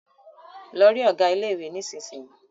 Lọ rí ọ̀gá ilé ìwé nísisìyìí!